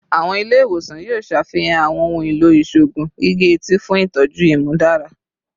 Awọn ile-iwosan yoo ṣafihan awọn ohun elo iṣoogun gige-eti fun itọju imudara